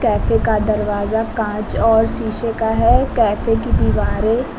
Cafe का दरवाजा कांच और शीशे का है। कैफे की दीवारें --